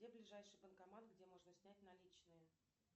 где ближайший банкомат где можно снять наличные